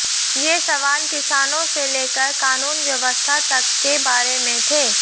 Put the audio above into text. ये सवाल किसानों से लेकर कानून व्यवस्था तक के बारे में थे